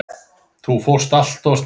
Þú fórst allt of snemma.